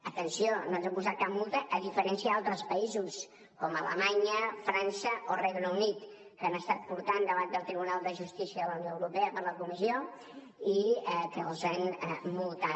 atenció no ens han posat cap multa a diferència d’altres països com alemanya frança o regne unit que han estat portats davant del tribunal de justícia de la unió europea per la comissió i els han multat